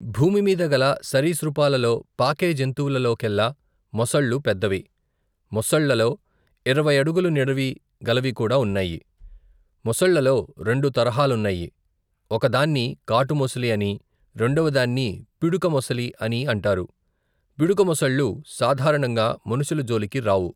భూమిమీద గల సరీసృపాలలో పాకే జంతువులలో కెల్లా మొసళ్ళు పెద్దవి. మోసళ్లలో ఇరవై అడుగుల నిడివి గలవికూడా ఉన్నాయి. మొసళ్ళలో రెండు తరహాలున్నాయి. ఒకదాన్ని కాటు మొసలి అనీ, రెండవదాన్ని పిడుక మొసలి అనీ అంటారు. పిడుక మొసళ్ళు సాధారణంగా మనుషుల జోలికి రావు.